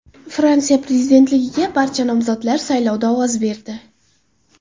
Fransiya prezidentligiga barcha nomzodlar saylovda ovoz berdi.